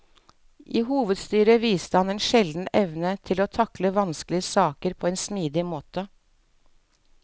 I hovedstyret viste han en sjelden evne til å takle vanskelige saker på en smidig måte.